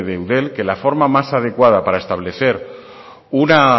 de eudel que la forma más adecuada para establecer una